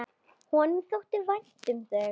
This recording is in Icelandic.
Honum þótti vænt um þau.